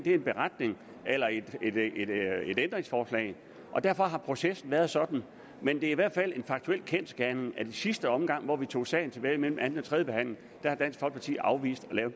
en beretning eller et ændringsforslag og derfor har processen været sådan men det er i hvert fald en faktuel kendsgerning at i sidste omgang hvor vi tog sagen tilbage mellem anden og tredje behandling har dansk folkeparti afvist at lave